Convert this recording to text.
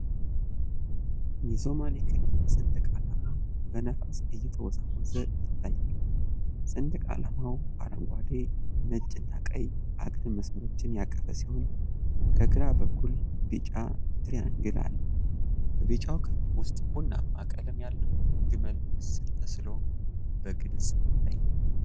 የሶማሌ ክልል ሰንደቅ ዓላማ በነፋስ እየተወዛወዘ ይታያል። ሰንደቅ ዓላማው አረንጓዴ፣ ነጭና ቀይ አግድም መስመሮችን ያቀፈ ሲሆን፣ ከግራ በኩል ቢጫ ትሪያንግል አለ። በቢጫው ክፍል ውስጥ ቡናማ ቀለም ያለው ግመል ምስል ተስሎ በግልጽ ይታያል።